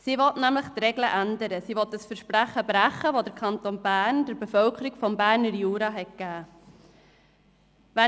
Sie will nämlich die Regeln ändern und das Versprechen brechen, das der Kanton Bern der Bevölkerung des Berner Juras gegeben hat.